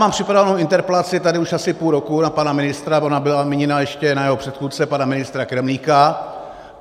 Mám připravenu interpelaci tady už asi půl roku na pana ministra, ona byla míněna ještě na jeho předchůdce pana ministra Kremlíka.